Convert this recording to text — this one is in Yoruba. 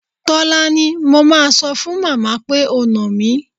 Tólání, mo máa sọ fún màmá pé o nà mí.